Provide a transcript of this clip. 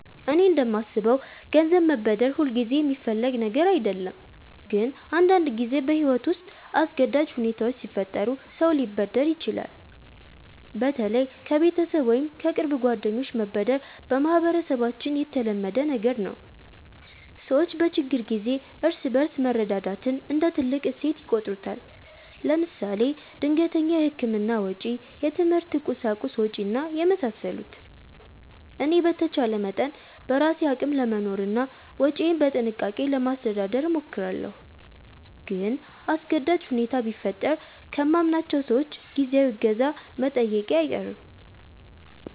እኔ እንደማስበው ገንዘብ መበደር ሁልጊዜ የሚፈለግ ነገር አይደለም፣ ግን አንዳንድ ጊዜ በሕይወት ውስጥ አስገዳጅ ሁኔታዎች ሲፈጠሩ ሰው ሊበደር ይችላል። በተለይ ከቤተሰብ ወይም ከቅርብ ጓደኞች መበደር በማህበረሰባችን የተለመደ ነገር ነው። ሰዎች በችግር ጊዜ እርስ በርስ መረዳዳትን እንደ ትልቅ እሴት ይቆጥሩታል። ለምሳሌ ድንገተኛ የሕክምና ወጪ፣ የትምህርት ቁሳቁስ ወጭ እና የመሳሰሉት። እኔ በተቻለ መጠን በራሴ አቅም ለመኖርና ወጪዬን በጥንቃቄ ለማስተዳደር እሞክራለሁ። ግን አስገዳጅ ሁኔታ ቢፈጠር ከማምናቸው ሰዎች ጊዜያዊ እገዛ መጠየቄ አይቀርም